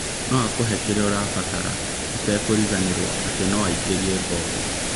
Noakũhe kĩrĩa ũrabatara ũtekũriganĩrwo atĩ noaingĩrie ngolu